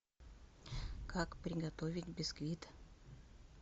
как приготовить бисквит